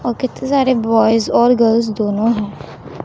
औ कितने सारे बॉयस और गर्ल्स दोनों है।